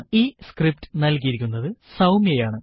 ഈ സ്ക്രിപ്റ്റ് നൽകിയിരിക്കുന്നത് സൌമ്യ ആണ്